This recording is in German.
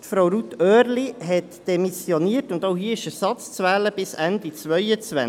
Frau Ruth Oehrli hat demissioniert, und auch hier ist Ersatz bis Ende 2022 zu wählen.